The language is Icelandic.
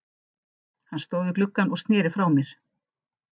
Hann stóð við gluggann og sneri frá mér.